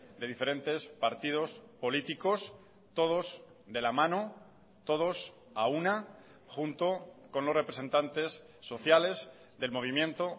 de diferentes partidos políticos todos de la mano todos a una junto con los representantes sociales del movimiento